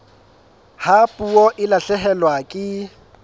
ha puo e lahlehelwa ke